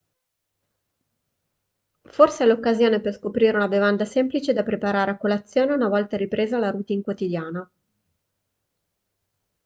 forse è l'occasione per scoprire una bevanda semplice da preparare a colazione una volta ripresa la routine quotidiana